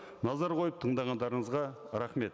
назар қойып тыңдағандарыңызға рахмет